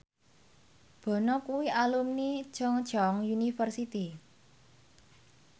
Bono kuwi alumni Chungceong University